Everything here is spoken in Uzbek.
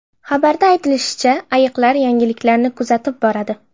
Xabarda aytilishicha, ayiqlar yangiliklarni kuzatib boradi.